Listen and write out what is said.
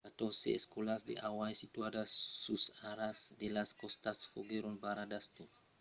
catòrze escòlas a hawaii situadas sus o a ras de las còstas foguèron barradas tot lo dimècres malgrat que las alèrtas èran estadas levadas